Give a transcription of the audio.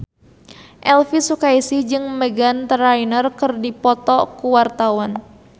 Elvi Sukaesih jeung Meghan Trainor keur dipoto ku wartawan